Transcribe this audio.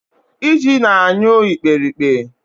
Iji na-anyụ ikperipke